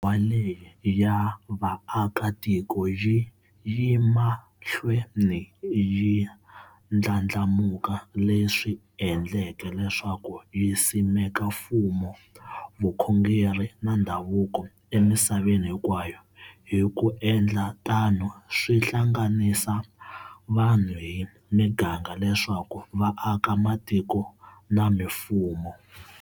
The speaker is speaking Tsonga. Wa leyi ya va aka tiko yi yemahlweni yi ndlandlamuka leswi endleke leswaku yi simeka mfumo, vukhongeri na ndhavuko emisaveni hinkwayo, hiku endla tano swi hlanganisa vanhu hi miganga leswaku va aka matiko na mimfumo.